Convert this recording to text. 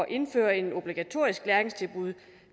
indføre et obligatorisk læringstilbud